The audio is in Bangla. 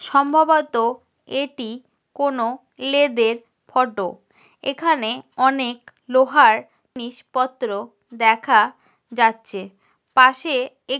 সম্ভবত এটি কোন লেদের ফটো । এখানে অনেক লোহার জিনিসপত্র দেখা যাচ্ছে পাশে এক --